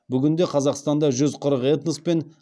бүгінде қазақстанда жүз қырық этнос пен